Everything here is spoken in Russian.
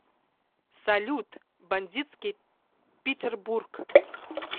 салют бандитский питербург